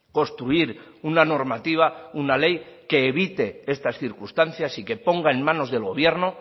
construir una normativa una ley que evite estas circunstancias y que ponga en manos del gobierno